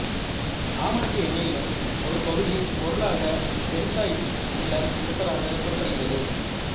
ஆமணக்கு எண்ணெயிலும் ஒரு பகுதிப் பொருளாக பென்சாயிக் அமிலம் இருப்பதாக கூறப்படுகிறது